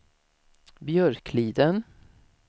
Björkliden